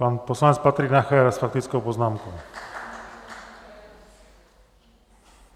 Pan poslanec Patrik Nacher s faktickou poznámkou.